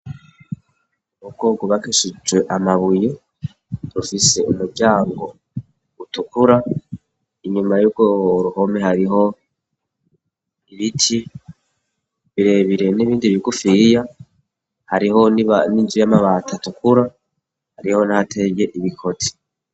Urugo rwubakishijwe amabuye. Rufise umuryango utukura. Inyuma y'urwo ruhome hariho ibiti birebire n'ibindi bigufiya; hariho n'inzu y'amabati atukura niho nateye ibikoti.